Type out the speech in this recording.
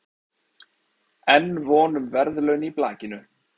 Enn von um verðlaun í blakinu